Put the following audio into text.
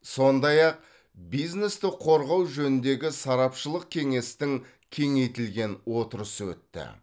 сондай ақ бизнесті қорғау жөніндегі сарапшылық кеңестің кеңейтілген отырысы өтті